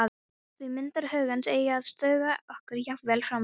Því myndir hugans eiga að duga okkur jafnvel framvegis.